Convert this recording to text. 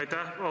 Aitäh!